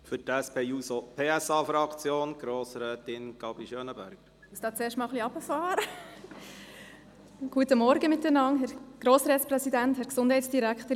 Für die SP-JUSO-PSA-Fraktion hat Grossrätin Gabi Schönenberger das Wort.